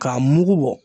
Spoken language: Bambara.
K'a mugu bɔ